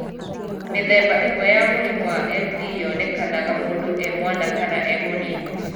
Mĩthemba ĩmwe ya mũrimũ wa MD yonekanaga mũndũ e mwana kana e mũnini.